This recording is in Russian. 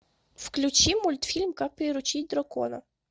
включи мультфильм как приручить дракона